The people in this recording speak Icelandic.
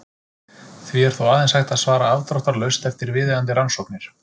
Því er þó aðeins hægt að svara afdráttarlaust eftir viðeigandi rannsóknir.